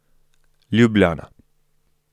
Ljubljana.